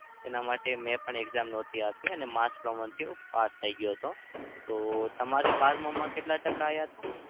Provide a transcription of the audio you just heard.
તેના માટે મેં પણ exam નહતી આપી અને mas promotion થી હું પાસ થઇ ગયો હતો. તો તમારે બારમાં માં કેટલા ટકા આવ્યા હતા?